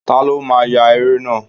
Ta ló máa ya eré náà?